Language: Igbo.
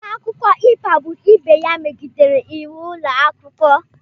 Nwata akwụkwọ ikpagbu ibe ya megidere íwú ụlọ akwụkwọ